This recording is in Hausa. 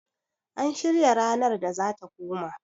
an shirya ranar da za ta koma?